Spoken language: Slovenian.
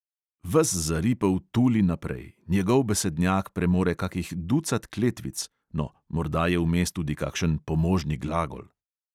Ves zaripel tuli naprej, njegov besednjak premore kakih ducat kletvic, no, morda je vmes tudi kakšen pomožni glagol.